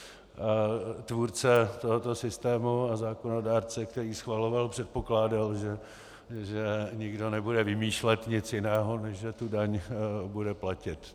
Tvůrce tohoto systému a zákonodárce, který schvaloval, předpokládal, že nikdo nebude vymýšlet nic jiného, než že tu daň bude platit.